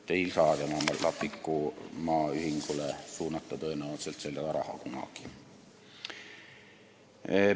Tema Lapiku Maa ühingule ei saa seda raha tõenäoliselt kunagi suunata.